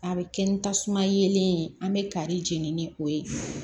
A bɛ kɛ ni tasuma yelen ye an bɛ kari jeni ni o ye